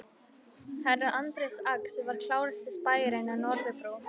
Herra Anders Ax var klárasti spæjarinn á Norðurbrú.